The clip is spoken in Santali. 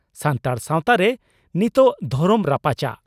ᱥᱟᱱᱛᱟᱲ ᱥᱟᱣᱛᱟᱨᱮ ᱱᱤᱛᱚᱜ ᱫᱷᱚᱨᱚᱢ ᱨᱟᱯᱟᱪᱟᱜ